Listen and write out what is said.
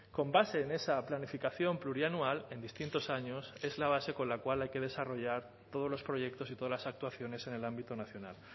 con base en esa planificación plurianual en distintos años es la base con la cual hay que desarrollar todos los proyectos y todas las actuaciones en el ámbito nacional